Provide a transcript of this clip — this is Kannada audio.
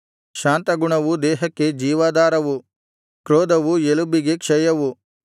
ಶಾಂತಗುಣವು ದೇಹಕ್ಕೆ ಜೀವಾಧಾರವು ಕ್ರೋಧವು ಎಲುಬಿಗೆ ಕ್ಷಯವು